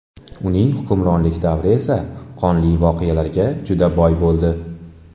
Uning hukmronlik davri esa qonli voqealarga juda boy bo‘ldi.